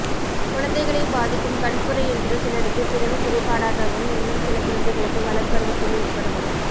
குழந்தைகளை பாதிக்கும் கண்புரை என்பது சிலருக்குப் பிறவிக் குறைபாடாகவும் இன்னும் சில குழந்தைகளுக்கு வளர்பருவத்தில் ஏற்படும்